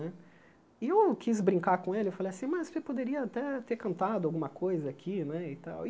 Né e eu quis brincar com ele, falei assim, mas você poderia até ter cantado alguma coisa aqui né e tal.